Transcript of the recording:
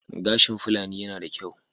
Gashin Fulani yana da kyau.